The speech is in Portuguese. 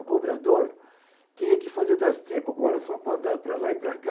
O cobrador tinha que fazer das tripa e coração para andar para lá e para cá,